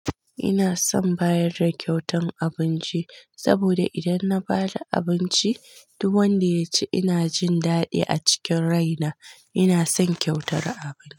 Ina son bayar da kyautan abunci saboda idan na bada abunci duk wanda ya ci ina jin daɗi a cikin rai na. Ina son kyautar abinci.